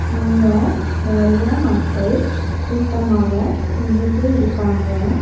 இங்க நெறைய மக்கள் கூட்டமாக நின்னுட்டு இருக்காங்க.